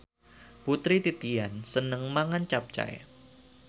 Putri Titian seneng mangan capcay